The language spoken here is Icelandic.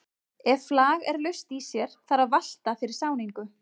Ef flag er laust í sér þarf að valta fyrir sáningu.